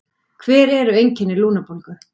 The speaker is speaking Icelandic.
hver eru einkenni lungnabólgu